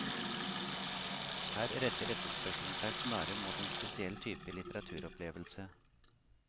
Her retter etterspørselen seg snarere mot en spesiell type litteraturopplevelse.